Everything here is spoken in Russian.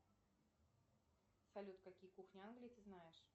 салют какие кухни англии ты знаешь